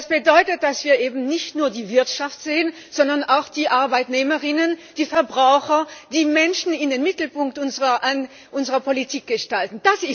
Das bedeutet, dass wir eben nicht nur die Wirtschaft sehen, sondern auch die ArbeitnehmerInnen, die Verbraucher, die Menschen in den Mittelpunkt unserer Politik stellen.